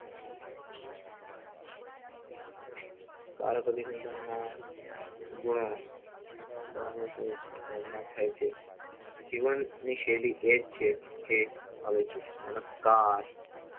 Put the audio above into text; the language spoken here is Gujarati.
કાલ કદી જીવન માં ગુનો જીવન ની શૈલી એજ છે કે આવે છે, નમસ્કાર